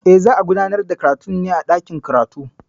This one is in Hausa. E, za a gudanar da karatun ne a dakin karatu.